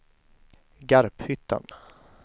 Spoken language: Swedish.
Garphyttan